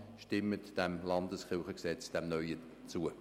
Stimmen Sie diesem neuen LKG zu.